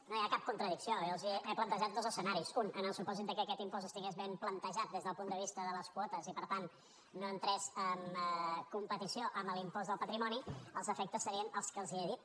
no hi ha cap contradicció jo els he plantejat dos escenaris un en el supòsit que aquest impost estigués ben plantejat des del punt de vista de les quotes i per tant no entrés en competició amb l’impost del patrimoni els efectes serien els que els he dit